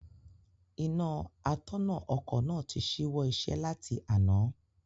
Iná atọ̀nà ọkọ̀ náà tí ṣíwọ́ iṣẹ́ láti àná.